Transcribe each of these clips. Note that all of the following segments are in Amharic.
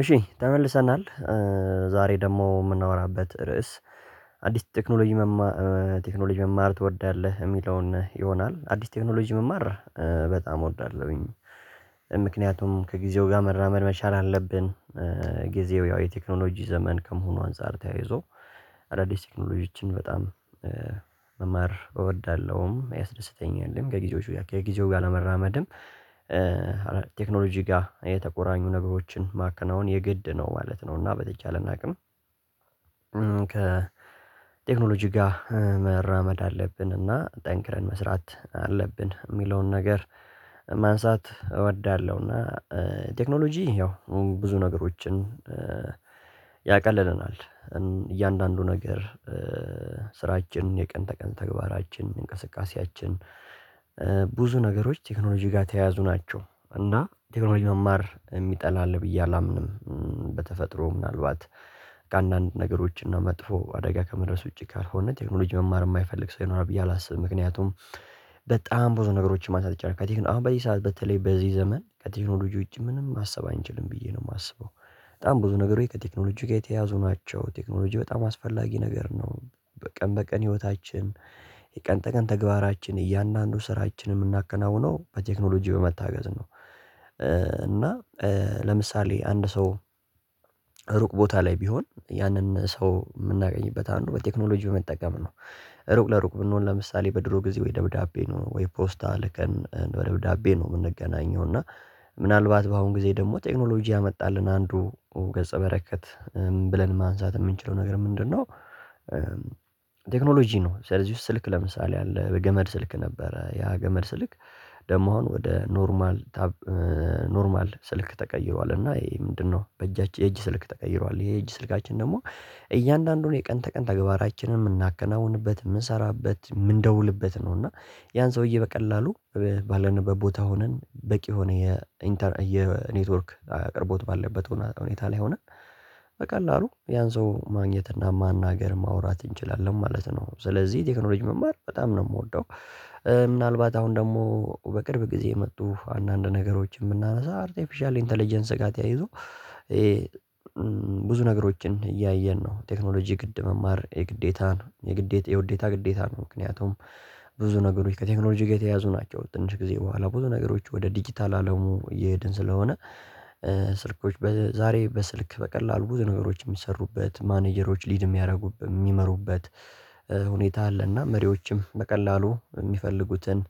እሺ ተመልሰናል ዛሬ ደግሞ ምናወራበት ርዕስ አዲስ ቴክኖሎጂ ቴክኖሎጂ መማር ትወዳለህ እሚለውን ይሆናል። አዲስ ቴክኖሎጂ መማር በጣም እወዳለሁኝ ምክንያቱም ከጊዜው ጋር መራመድ መቻል አለብን። ጊዜው ያው የቴክኖሎጂ ዘመን ከመሆኑ አንፃር ተያይዞ አዳዲስ ቴክኖሎጂዎችን በጣም መማር እወዳለሁም ያስደስተኛል ከጊዜው ጋር ለመራመድም። ቴክኖሎጂ ጋር የተቆራኙ ነገሮችን ማከናወን የግድ ነው ማለት ነው። እና በተቻለን አቅም ከቴክኖሎጂ ጋር መራመድ አለብን እና ጠንክረን መስራት አለብን ሚለውን ነገር ማንሳት እወዳለሁ። እና ቴክኖሎጂ ያው ብዙ ነገሮችን ያቀልልናል። እያንዳንዱ ነገር ስራችን የቀን ተቀን ተግባራችን እንቅስቃሴያችን ብዙ ነገሮች ቴክኖሎጂ ጋር ተያያዙ ናቸው እና ቴክኖሎጂ መማር የሚጠላ አለ ብዬ አላምንም። በተፈጥሮ ምናልባት ከአንዳንድ ነገሮች እና መጥፎ አደጋ ከመድረስ ውጪ ካልሆነ ቴክኖሎጂ መማር የማይፈልግ ሰው ይኖራል ብዬ አላስብም። ምክንያቱም በጣም ብዙ ነገሮችን ማንሳት ይቻላል አሁን በዚህ ሰዓት በተለይ በዚህ ዘመን ከቴክኖሎጂ ውጪ ምንም ማሰብ አንችልም ብዬ ነው ማስበው። በጣም ብዙ ነገር ከቴክኖሎጂ ጋር የተያዙ ናቸው ቴክኖሎጂ በጣም አስፈላጊ ነገር ነው። በቀን በቀን ህይወታችን የቀን ተቀን ተግባራችን እያንዳንዱ ስራችንን ምናከናውነው በቴክኖሎጂ በመታገዝ ነው። እና ለምሳሌ አንድ ሰው ሩቅ ቦታ ላይ ቢሆን ያንን ሰው ምናገኝበት አንዱ በቴክኖሎጂ በመጠቀም ነው። ሩቅ ለሩቅ ብንሆን ለምሳሌ በድሮ ጊዜ ወይ ደብዳቤ ነው ወይ ፖስታ ልከን በደብዳቤ ነው ምንገናኘው። እና ምናልባት በአሁን ጊዜ ደግሞ ቴክኖሎጂ ያመጣልን አንዱ ገጸ በረከት ብለን ማንሳት ምንችለው ነገር ምንድነው? ቴክኖሎጂ ነው ስለዚህ ውስጥ ስልክ ለምሳሌ አለ በገመድ ስልክ ነበረ ያ ገመድ ስልክ። ደግሞ አሁን ወደ ኖርማል ኖርማል ስልክ ተቀይሯልና ይሄ ምንድነው? በእጃችን የእጅ ስልክ ተቀይሯል የእጅ ስልካችን ደግሞ እያንዳንዱን የቀን ተቀን ተግባራችንን ምናከናውንበት ምንሰራበት ምንደውልበት ነው። እና ያን ሰውዬ በቀላሉ ባለንበት ቦታ ሆነን በቂ ሆነ የኔትወርክ አቅርቦት ባለበት ሁኔታ ላይ ሆነን በቀላሉ ያን ሰው ማግኘት እና ማናገር ማውራት እንችላለን ማለት ነው። ስለዚህ ቴክኖሎጂ መማር በጣም ነው ምወደው። ምናልባት አሁን ደግሞ በቅርብ ጊዜ የመጡ አንዳንድ ነገሮችን ብናነሳ አርቲፊሻል ኢንተለጀንስ ጋር ተያይዞ ይሄ። ብዙ ነገሮችን እያየን ነው ቴክኖሎጂ ግድ መማር የግዴታ ነው የግዴታ የውዴታ ግዴታ ነው። ምክንያቱም ብዙ ነገሮች ከቴክኖሎጂ ጋር የተያዙ ናቸው ከትንሽ ጊዜ በኋላ ብዙ ነገሮች ወደ ዲጂታል አለሙ እየሄድን ስለሆነ። ዛሬ በስልክ በቀላሉ ብዙ ነገሮች ሚሰሩበት ማኔጀሮች ሊድ ሚያደርጉበት ሚመሩበት ሁኔታ አለና መሪዎችም በቀላሉ ሚፈልጉትን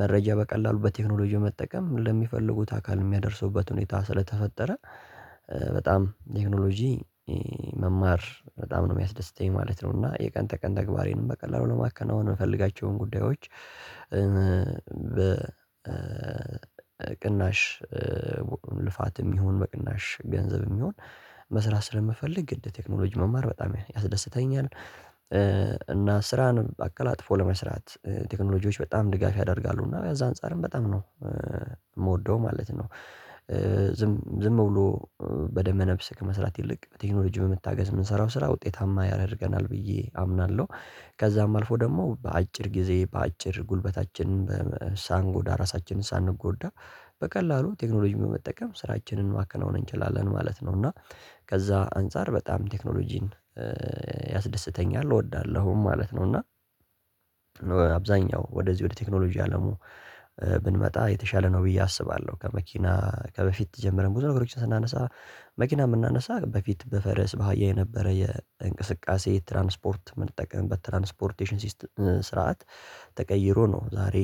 መረጃ በቀላሉ በቴክኖሎጂ መጠቀም ለሚፈልጉት አካል የሚያደርሱበት ሁኔታ ስለተፈጠረ። ቴክኖሎጂ መማር በጣም ነው ሚያስደስተኝ ማለት ነው። እና የቀን ተቀን ተግባሬንም በቀላሉ ለማከናወን ምፈልጋቸውን ጉዳዮች በቅናሽ ልፋትም ይሁን በቅናሽ ገንዘብም ይሁን መስራት ስለምፈልግ ግድ ቴክኖሎጂ መማር በጣም ያስደስተኛል። ስራን አቀላጥፎ ለመስራት ቴክኖሎጂዎች በጣም ድጋፍ ያደርጋሉ እና በዛ አንፃርም በጣም ነው ምወደው ማለት ነው። ዝም ዝም ብሎ በደመ ነፍስ ከመስራት ይልቅ ቴክኖሎጂ በመታገዝ ምንሰራው ስራ ውጤታማ ያደርገናል ብዬ አምናለሁ። ከዛም አልፎ ደግሞ በአጭር ጊዜ በአጭር ጉልበታችን ሳንጎዳ ራሳችንን ሳንጎዳ በቀላሉ ቴክኖሎጂ በመጠቀም ስራችንን ማከናወን እንችላለን ማለት ነው። እና ከዛ አንፃር በጣም ቴክኖሎጂን ያስደስተኛል እወዳለሁ ማለት ነው። እና ወደዚህ ወደ ቴክኖሎጂ አለሙ ብንመጣ የተሻለ ነው ብዬ አስባለሁ። ከመኪና ከበፊት ጀምረን ብዙ ነገሮችን ስናነሳ መኪና ብናነሳ በፊት በፈረስ በሃያ የነበረ የእንቅስቃሴ ትራንስፖርት የምንጠቀምበት ትራንስፖርቴሽን ስርዓት ተቀይሮ ነው። ዛሬ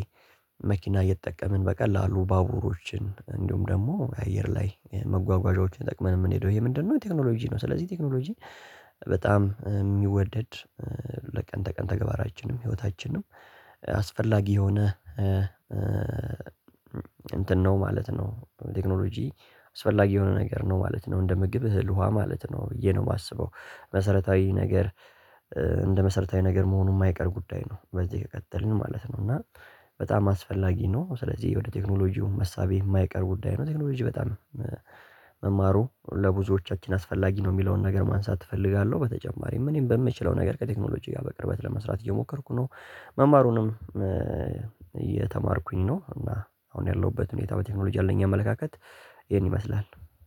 መኪና እየተጠቀምን በቀላሉ ባቡሮችን እንዲሁም ደግሞ አየር ላይ መጓጓዣዎችን ተጠቅመን እምንሄደው ይሄ ምንድነው? ቴክኖሎጂ ነው። ስለዚህ ቴክኖሎጂ በጣም ሚወደድ ለቀን ተቀን ተግባራችንም ህይወታችንም አስፈላጊ የሆነ እንትን ነው ማለት ነው። ቴክኖሎጂ አስፈላጊ የሆነ ነገር ነው ማለት ነው እንደ ምግብ እህል ውሃ ማለት ነው ብዬ ነው ማስበው። መሰረታዊ ነገር እንደ መሰረታዊ ነገር መሆኑ ማይቀር ጉዳይ ነው በዚህ ከቀጠልን ማለት ነው። እና በጣም አስፈላጊ ነው። ስለዚህ ወደ ቴክኖሎጂው መሳቢ የማይቀር ጉዳይ ነው። ቴክኖሎጂ በጣም መማሩ ለብዙዎቻችን አስፈላጊ ነው እሚለውን ነገር ማንሳት እፈልጋለሁ። በተጨማሪም እኔም በምችለው ነገር ከቴክኖሎጂ ጋር በቅርበት ለመስራት እየሞከርኩ ነው። መማሩንም እየተማርኩኝ ነው። እና አሁን ያለሁበት ሁኔታ በቴክኖሎጂ ያለኝ አመለካከት ይሄን ይመስላል።